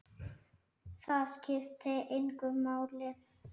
Það skiptir engu máli.